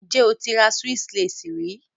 Have you ever bought a Swiss Lace?